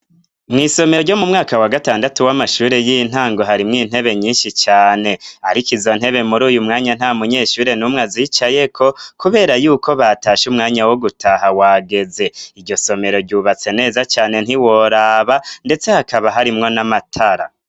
Mw'isomero ryo mu mwaka wa gatandatu w'amashure y'intango harimwo intebe nyinshi cane, ariko izo ntebe muri uyu mwanya nta munyeshure n'umwe azicayeko, kubera yuko batasha umwanya wo gutaha wageze iryo somero ryubatse neza cane ntiworaba, ndetse hakaba harimwo n'amatara.